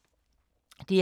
DR K